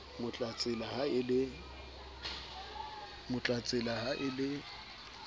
mo tlatsela ha e le